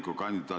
Aitäh, hea Henn!